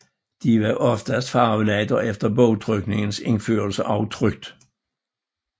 De var oftest farvelagt og efter bogtrykningens indførelse også trykt